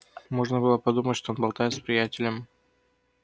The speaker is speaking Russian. можно было подумать что он болтает с приятелем